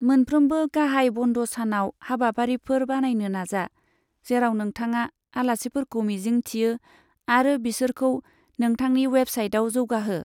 मोनफ्रोमबो गाहाय बन्द सानाव हाबाफारिफोर बानायनो नाजा, जेराव नोंथाङा आलासिफोरखौ मिजिं थियो आरो बिसोरखौ नोथांनि वेबसाइटआव जौगाहो।